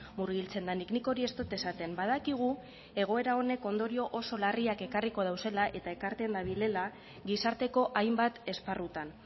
murgiltzen denik nik hori ez dut esaten badakigu egoera honek ondorio oso larriak ekarriko dauzela eta ekarten badirela gizarteko hainbat esparrutan